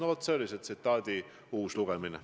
" Lugesin siis selle tsitaadi uuesti ette.